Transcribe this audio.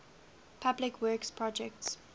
public works projects